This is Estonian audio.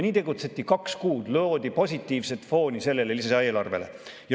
Nii tegutseti kaks kuud, loodi positiivset fooni sellele lisaeelarvele.